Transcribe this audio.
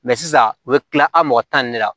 sisan u bɛ tila a' mɔgɔ tan ni la